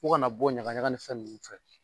U kana bɔ ɲagaɲaga ni fɛn nunnu fɛ.